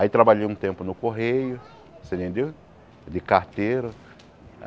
Aí trabalhei um tempo no Correio, você entendeu de carteiro.